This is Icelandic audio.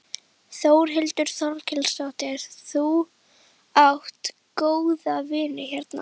Þórhildur Þorkelsdóttir: Þú átt góða vini hérna?